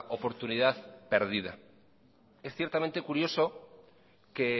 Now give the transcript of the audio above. oportunidad perdida es ciertamente curioso que